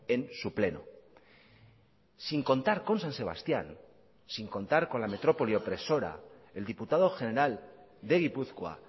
en su pleno sin contar con san sebastián sin contar con la metrópoli opresora el diputado general de gipuzkoa